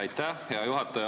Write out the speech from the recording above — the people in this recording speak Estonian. Aitäh, hea juhataja!